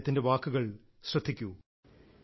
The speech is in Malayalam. അദ്ദേഹത്തിന്റെ വാക്കുകൾ ശ്രദ്ധിക്കൂ